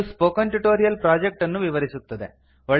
ಇದು spoken tutorial project ಅನ್ನು ವಿವರಿಸುತ್ತದೆ